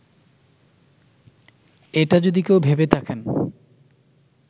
এটা যদি কেউ ভেবে থাকেন